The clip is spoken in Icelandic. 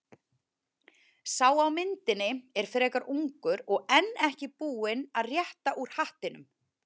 Sá á myndinni er frekar ungur og enn ekki búinn að rétta úr hattinum.